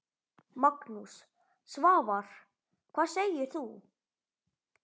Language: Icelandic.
Magnús: Svavar, hvað segir þú?